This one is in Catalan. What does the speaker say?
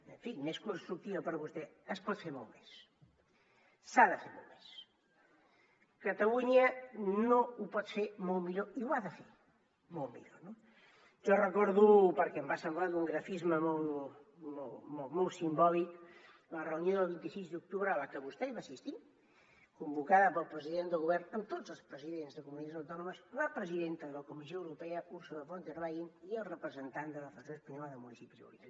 en fi més constructiva per vostè es pot fer molt més s’ha de fer molt més catalunya ho pot fer molt millor i ho ha de fer molt millor no jo recordo perquè em va semblar d’un grafisme molt molt simbòlic la reunió del vint sis d’octubre a la que vostè va assistir convocada pel president del govern amb tots els presidents de comunitats autònomes la presidenta de la comissió europea ursula von der leyen i el representant de la federació espanyola de municipis